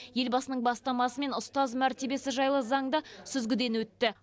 елбасының бастамасымен ұстаз мәртебесі жайлы заң да сүзгіден өтті